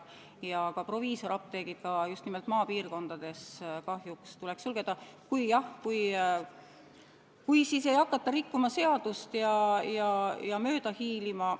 Ka proviisoriapteegid just nimelt maapiirkondades kahjuks tuleks sulgeda, kui ei hakataks rikkuma seadust ja sellest mööda hiilima.